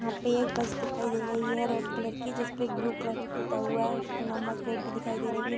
यहाँ पे एक बस दिखाई दे रही है रेड कलर की जिसपे ब्लू कलर की पुता हुआ है उसपे नंबर प्लेट भी दिखाई दे रही है।